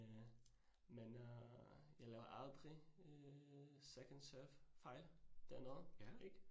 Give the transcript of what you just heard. Øh men øh jeg laver aldrig øh second serve fejl. Det er noget ik?